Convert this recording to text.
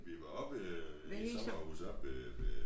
Vi var oppe ved et sommerhus oppe ved ved